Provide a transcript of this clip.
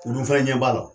U dun fana ɲɛ b'a la